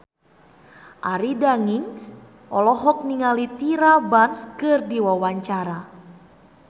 Arie Daginks olohok ningali Tyra Banks keur diwawancara